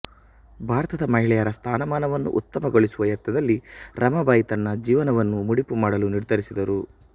ಭಾರತದ ಮಹಿಳೆಯರ ಸ್ಥಾನಮಾನವನ್ನು ಉತ್ತಮಗೊಳಿಸುವ ಯತ್ನದಲ್ಲಿ ರಮಾಬಾಯಿ ತನ್ನ ಜೀವನವನ್ನು ಮುಡಿಪು ಮಾಡಲು ನಿರ್ಧರಿಸಿದರು